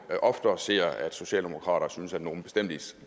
oftere ser at socialdemokraterne synes at nogle